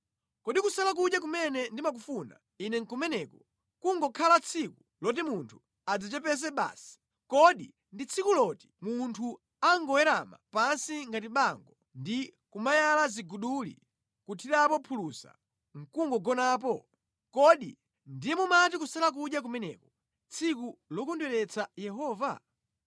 Kodi kusala kudya kumene ndimakufuna Ine nʼkumeneku, kungokhala tsiku loti munthu adzichepetse basi? Kodi ndi tsiku loti munthu angowerama pansi ngati bango ndi kumayala ziguduli nʼkuthirapo phulusa nʼkugonapo? Kodi ndiye mumati kusala kudya kumeneko, tsiku lokondweretsa Yehova?